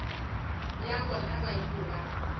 bja bona ba ile ba